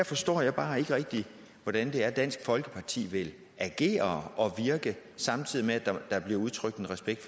forstår jeg bare ikke rigtig hvordan det er dansk folkeparti vil agere og virke samtidig med at der bliver udtrykt respekt